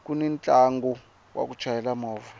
kuni ntlangu wa ku chayela movha